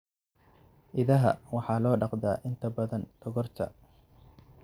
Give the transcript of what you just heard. Idaha waxaa loo dhaqdaa inta badan dhogorta.